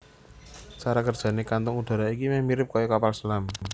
Cara kerjané kantung udara iki meh mirip kaya kapal selam